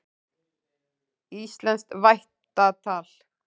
Íslenskt vættatal.